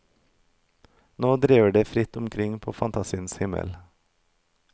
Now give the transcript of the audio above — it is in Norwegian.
Nå driver de fritt omkring på fantasiens himmel.